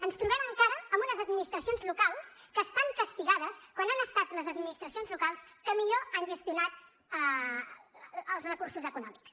ens trobem encara amb unes administracions locals que estan castigades quan han estat les administracions locals que millor han gestionat els recursos econòmics